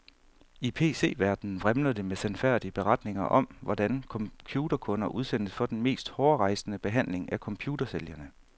I pc-verdenen vrimler det med sandfærdige beretninger om, hvordan computerkunder udsættes for den mest hårrejsende behandling af computersælgerne.